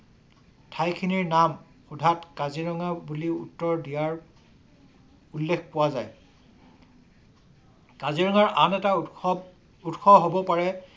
ঠাইখিনিৰ নাম সুধাত কাজিৰঙা বুলিও উত্তৰ দিয়াৰ উল্লেখ পোৱা যায়। কাজিৰঙাৰ আন‌ এটা উৎসৱ উৎস হব পাৰে